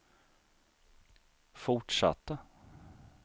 fortsatta